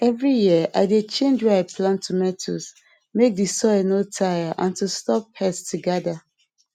every year i dey change where i plant tomato make the soil no tire and to stop pest to gather